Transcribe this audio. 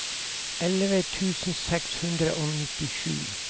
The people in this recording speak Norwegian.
elleve tusen seks hundre og nittisju